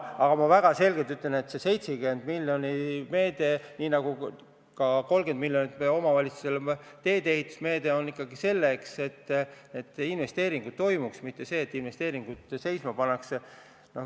Aga ma väga selgelt ütlen, et see 70 miljoni meede, nii nagu ka 30 miljoni meede, mis on mõeldud omavalitsustele teedeehituseks, on ikkagi selleks, et investeeringuid tehtaks, mitte selleks, et investeeringud seisma pandaks.